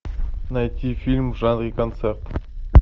найти фильм в жанре концерт